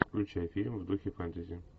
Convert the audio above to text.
включай фильм в духе фэнтези